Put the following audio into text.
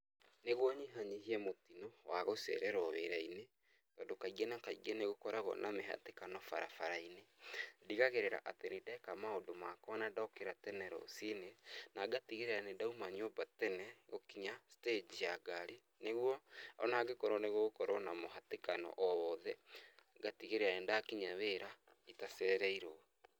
Nĩguo nyihaenyihie mũtino wa gũcererwo wĩrainĩ tondũ kaingĩ na kaingĩ nĩ gũkorawo na mĩhatĩkano barabarainĩ ndigagĩrĩra atĩ nĩ ndeka maũndũ makwa na nĩndokĩra tene rũcinĩ na ngatigĩrĩra nĩdauma nyũmba tene gũkinya stage ya ngari nĩguo onangĩkorwo nĩgũgũkorwo na mũhatĩkano owothe ngatigĩrĩra nĩndakinya wĩra itacereirwo .